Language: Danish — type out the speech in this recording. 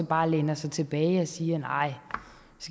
bare læner sig tilbage og siger nej